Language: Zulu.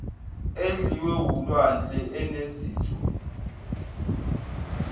edliwe wulwandle enezitho